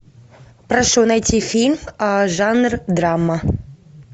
прошу найти фильм жанр драма